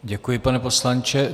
Děkuji, pane poslanče.